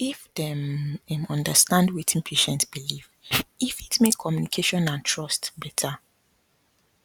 if dem um understand wetin patient believe e fit make communication and trust better